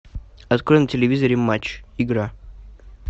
открой на телевизоре матч игра